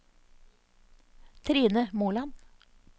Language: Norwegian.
Trine Moland